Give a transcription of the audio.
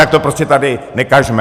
Tak to prostě tady nekažme!